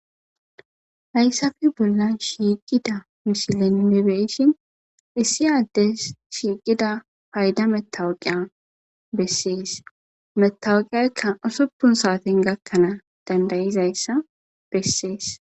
Haysape bolan shiiqida misilen be'ishin issi ades shiiqida payda matawuka beses metaweqeka usupun saaten gakanas danda'iyasa beses.